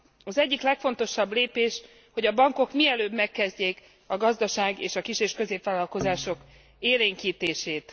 Az egyik legfontosabb lépés, hogy a bankok mielőbb megkezdjék a gazdaság és a kis és középvállalkozások élénkítését.